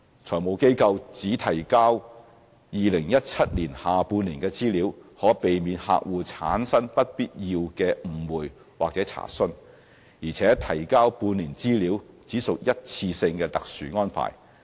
財務機構只提交2017年下半年的資料，可避免客戶產生不必要的誤會或查詢，而且提交半年資料只屬一次過特殊安排。